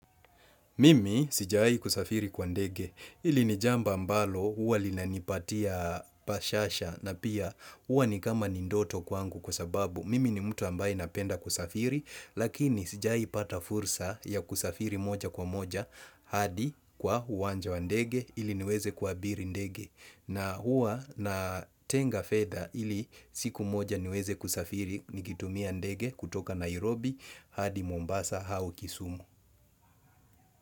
Mimi sijawai kusafiri kwa ndege ili ni jambo ambalo uwa linanipatia bashasha na pia uwa ni kama ni ndoto kwangu kwa sababu Mimi ni mtu ambaye napenda kusafiri lakini sijai pata fursa ya kusafiri moja kwa moja hadi kwa uwanja wa ndege ili niweze kuabiri ndege. Na uwa natenga fedha ili siku moja niweze kusafiri nikitumia ndege kutoka Nairobi hadi Mombasa au Kisumu.